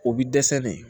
O bi dɛsɛ ne